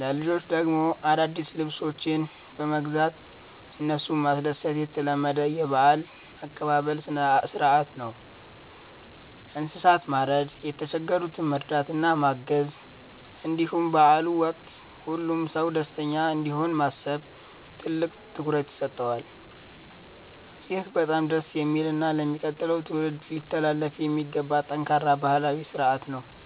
ለልጆች ደግሞ አዳዲስ ልብሶችን በመግዛት እነሱን ማስደሰት የተለመደ የበዓል አቀባበል ሥርዓት ነው። እንስሳትን ማረድ፣ የተቸገሩትን መርዳትና ማገዝ፣ እንዲሁም በበዓሉ ወቅት ሁሉም ሰው ደስተኛ እንዲሆን ማሰብ ትልቅ ትኩረት ይሰጠዋል። ይህ በጣም ደስ የሚልና ለሚቀጥለው ትውልድ ሊተላለፍ የሚገባው ጠንካራ ባህላዊ ሥርዓት ነው።